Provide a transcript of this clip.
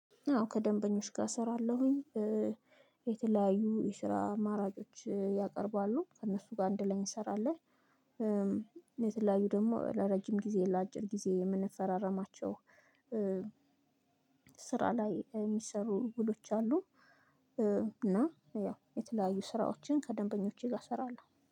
አዎ ከደንበኞች ጋር እሰራለሁኝ። የተለያዩ የስራ አማራጮች ያቀርባሉ። ከእነሱ ጋር አንድ ላይ እንሰራለን። የተለያዩ ደግሞ ለረጅም ጊዜ ለአጭር ጊዜ የምንፈራረማቸው ስራ ላይ የሚሰሩ ውሎች አሉ። እና ያው የተለያዩ ስራዎችን ከደንበኞቼ ጋር እሰራለሁ።